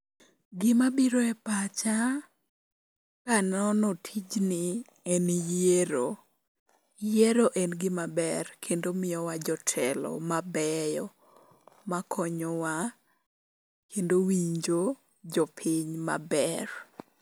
Gimabiro e pacha kanono tijni en yiero. Yiero en gimaber kendo miyowa jotelo mabeyo makonyowa kendo winjo jopiny maber.